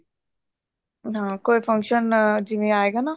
ਹਾਂ ਕੋਈ function ਜਿਵੇਂ ਆਏਗਾ ਨਾ